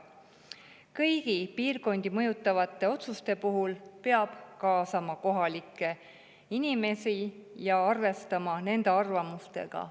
Kõigi piirkondi mõjutavate otsuste puhul peab kaasama kohalikke inimesi ja arvestama nende arvamustega.